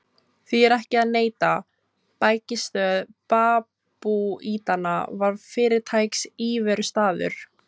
Því er ekki að neita: bækistöð babúítanna var fyrirtaks íverustaður.